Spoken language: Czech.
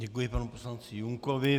Děkuji panu poslanci Junkovi.